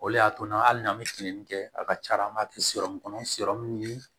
O de y'a to n'ali n'an bɛ filennin kɛ a ka ca ala tɛ kɔnɔ ni